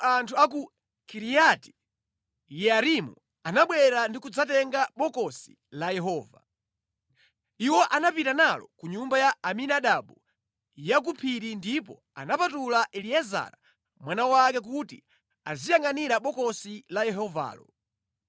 Choncho anthu a ku Kiriati-Yearimu anabwera ndi kudzatenga Bokosi la Yehova. Iwo anapita nalo ku nyumba ya Abinadabu ya ku phiri ndipo anapatula Eliezara mwana wake kuti aziyangʼanira Bokosi la Yehovalo.